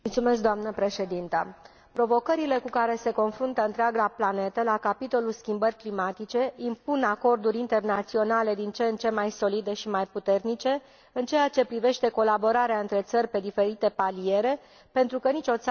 Provocările cu care se confruntă întreaga planetă la capitolul schimbări climatice impun acorduri internaționale din ce în ce mai solide și mai puternice în ceea ce privește colaborarea între țări pe diferite paliere, pentru că nicio țară nu poate reuși singură.